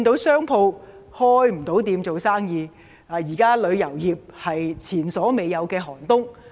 商鋪現時無法營業，而旅遊業更面對前所未有的"寒冬"。